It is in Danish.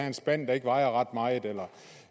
en spand der ikke vejer ret meget eller